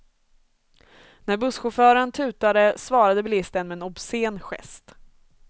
När busschauffören tutade svarade bilisten med en obscen gest.